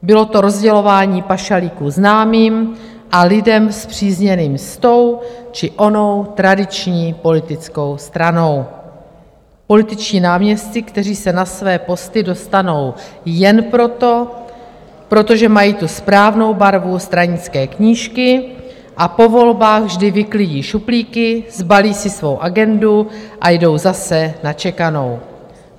Bylo to rozdělování pašalíků známým a lidem spřízněným s tou či onou tradiční politickou stranou, političtí náměstci, kteří se na své posty dostanou jen proto, protože mají tu správnou barvu stranické knížky, a po volbách vždy vyklidí šuplíky, sbalí si svou agendu a jdou zase na čekanou.